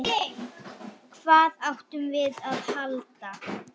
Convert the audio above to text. Hvað áttum við að halda?